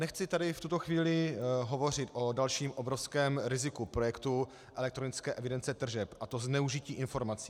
Nechci tady v tuto chvíli hovořit o dalším obrovském riziku projektu elektronické evidence tržeb, a to zneužití informací.